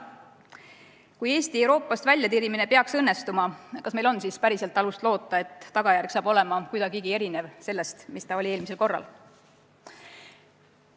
Kui Eesti Euroopast väljatirimine peaks õnnestuma, kas meil on siis päriselt alust loota, et tagajärg on kuidagigi erinev sellest, mis oli eelmisel korral?